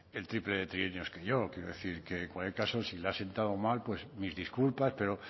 el triple de trienios que yo quiero decir que en cualquier caso si le ha sentado mal pues mis disculpas pero